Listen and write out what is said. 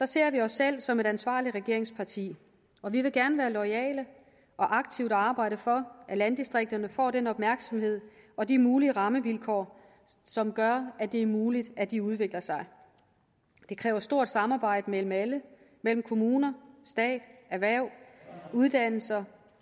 ser vi os selv som et ansvarligt regeringsparti og vi vil gerne være loyale og aktivt arbejde for at landdistrikterne får den opmærksomhed og de mulige rammevilkår som gør at det er muligt at de udvikler sig det kræver stort samarbejde mellem alle mellem kommuner stat erhverv uddannelser